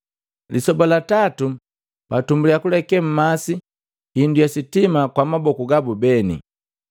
Lisoba la tatu, batumbulia kuleke mmasi hindu ya sitima kwa maboku gabu beni.